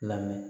Lamɛn